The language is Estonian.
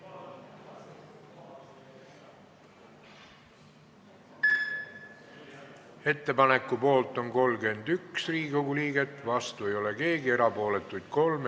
Hääletustulemused Ettepaneku poolt on 31 Riigikogu liiget, vastu ei ole keegi, erapooletuks jäi 3.